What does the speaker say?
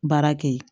Baara kɛ ye